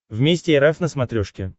вместе эр эф на смотрешке